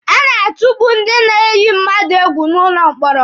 A na-atukpu ndị na-eyi mmadụ egwu n'ụlọ mkpọrọ.